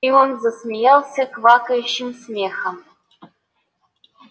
и он засмеялся квакающим смехом